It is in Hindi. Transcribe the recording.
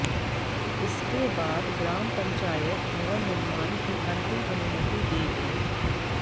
इसके बाद ग्राम पंचायत भवन निर्माण की अंतिम अनुमति देगी